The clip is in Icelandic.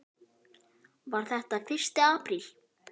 Var þetta fyrsti apríl?